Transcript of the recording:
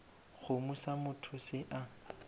kgomo sa motho se a